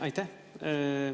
Aitäh!